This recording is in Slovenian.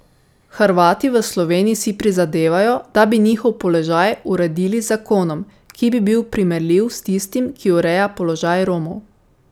Hrvati v Sloveniji si prizadevajo, da bi njihov položaj uredili z zakonom, ki bi bil primerljiv s tistim, ki ureja položaj Romov.